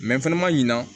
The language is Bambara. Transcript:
fɛnɛ ma ɲina